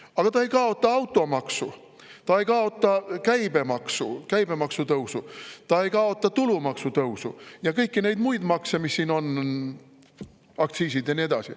Aga ta ei kaota automaksu, ta ei kaota käibemaksu tõusu, ta ei kaota tulumaksu tõusu ega kõiki neid muid makse, mis siin on, aktsiise ja nii edasi.